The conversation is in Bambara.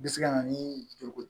Bɛ se ka na ni joli ko